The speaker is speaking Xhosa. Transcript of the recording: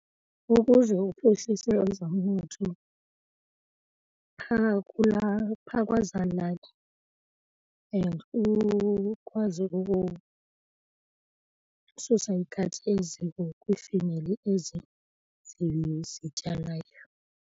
Ukuze uphuhlise ezomnotho phaa kulaa, phaa kwezaa lali and ukwazi ukususa ikati eziko kwiifemeli ezi zityalayo.